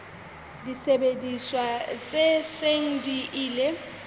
disebediswa tse seng di ile